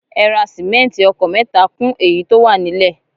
Ẹ ra simẹnti ọkọ̀ mẹ́ta kún èyí tó wà nílẹ̀